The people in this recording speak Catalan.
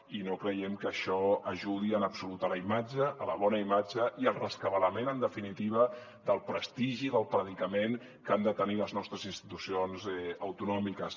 i no creiem que això ajudi en absolut a la imatge a la bona imatge i al rescabalament en definitiva del prestigi i del predicament que han de tenir les nostres institucions autonòmiques